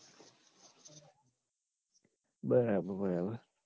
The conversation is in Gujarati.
બરાબર બરાબર